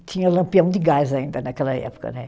Tinha lampião de gás ainda naquela época, né?